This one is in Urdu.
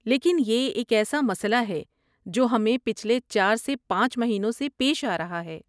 لیکن یہ ایک ایسا مسئلہ ہے جو ہمیں پچھلے چار سے پانچ مہینوں سے پیش آرہا ہے